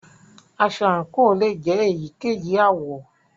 Aṣọ àǹkò lè jẹ èyíkéyìí àwọ̀.